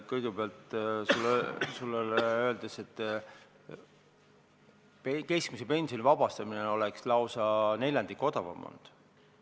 Kõigepealt, keskmise pensioni tulumaksust vabastamine oleks lausa neljandiku võrra odavam olnud.